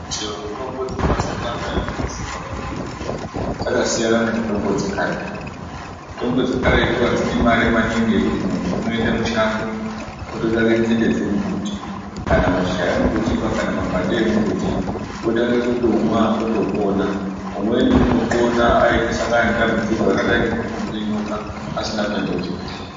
Chero mitombo dzemazuwa anaya dzinesimba maningi dzakasiyana nemitombo dzekaretu, mitombo dzekaretu adzidi mare maningi yekuti muntu unoende mushango ototsvake nzinde dzemumbuti kana mashizha emumbuti kana mapande emumbuti otange kutomwa otopona ,umweni unopona aite asangana nedambudziko rakadai ngekurumwa ngenyoka asina kuende kuchibhehleya.